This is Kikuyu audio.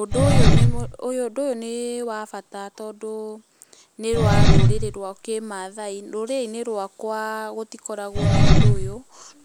Ũndũ ũyũ nĩ ũndũ ũyũ nĩ wa bata tondũ nĩ wa rũrĩrĩ rwa kĩmaathai, rũrĩrĩ-inĩ rwakwa gũtikoragwo na ũndũ ũyũ,